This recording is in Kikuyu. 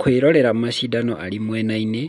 Kũĩrorera macindano arĩ mwenainĩ,